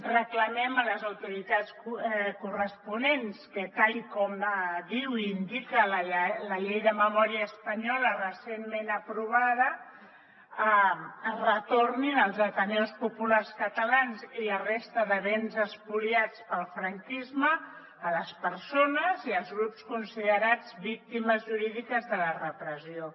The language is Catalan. reclamem a les autoritats corresponents que tal com diu i indica la llei de memòria espanyola recentment aprovada es retornin els ateneus populars catalans i la resta de béns espoliats pel franquisme a les persones i als grups considerats víctimes jurídiques de la repressió